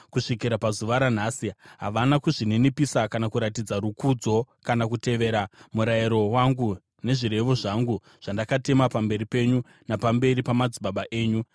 Kusvikira pazuva ranhasi havana kuzvininipisa kana kuratidza rukudzo, kana kutevera murayiro wangu nezvirevo zvangu zvandakatema pamberi penyu napamberi pamadzibaba enyu.